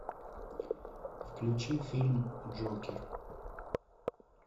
включи фильм джокер